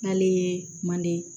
N'ale ye manden